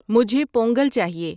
مجھے پونگل چاہیئے